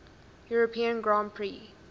european grand prix